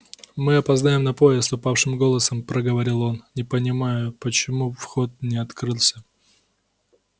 мы опоздаем на поезд упавшим голосом проговорил он не понимаю почему вход не открылся